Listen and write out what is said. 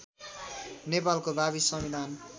नेपालको भावी संविधान